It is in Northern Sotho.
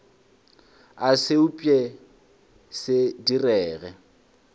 a se upše se direge